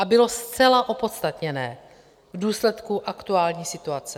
A bylo zcela opodstatněné v důsledku aktuální situace.